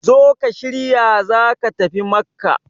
zo ka shirya za ka tafi Makka!